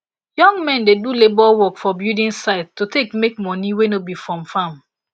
young men dey do labour work for building site to take make money wey no be from farm